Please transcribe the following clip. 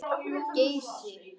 Geysi